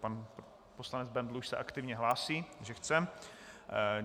Pan poslanec Bendl se už aktivně hlásí, že chce?